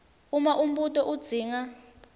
uma umbuto udzinga